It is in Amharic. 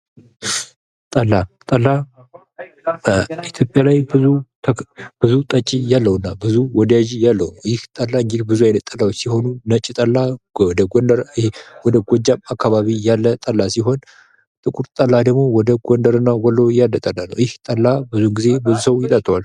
ጠላ ጠላ ኢትዮጵያ ላይ ብዙ ጠጭ ያለውና ብዙ ወዳጅ ያለው ይህ ጠላ እንግዲህ ብዙ ጠላዎች ሲኖሩ ነጭ ጠላ ወደጎጃም አካባቢ ያለ ጠላ ሲሆን ጥቁር ጠላ ደሞ ወደጎደርና ወሎ ያለ ጠላ ነው። ይህ ጠላ ብዙ ጊዜ ብዙ ሰው ይጠጣዋል።